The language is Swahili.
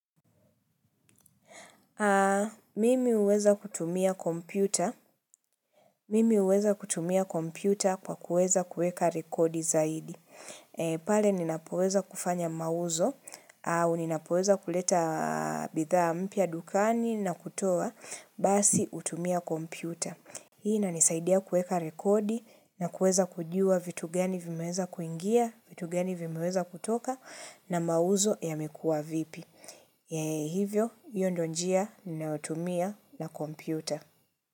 Mimi huweza kutumia kompyuta kwa kuweza kuweka rekodi zaidi. Pale ninapoweza kufanya mauzo au ninapoweza kuleta bidhaa mpya dukani na kutoa, basi hutumia kompyuta. Hii inanisaidia kuweka rekodi na kuweza kujuwa vitu gani vimeweza kuingia, vitu gani vimeweza kutoka na mauzo yamekua vipi. Hivyo hio ndio njia ninayotumia na kompyuta.